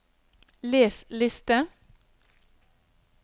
les liste